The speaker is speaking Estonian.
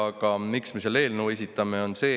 Aga miks me selle eelnõu esitame?